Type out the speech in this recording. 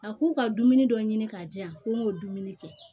A ko ka dumuni dɔ ɲini k'a di yan ko n k'o dumuni kɛ